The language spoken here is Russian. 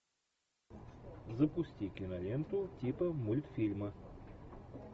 запусти киноленту типа мультфильма